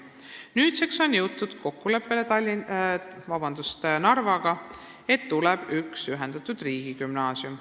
Nüüdseks on jõutud Narvaga kokkuleppele, et tuleb üks ühendatud riigigümnaasium.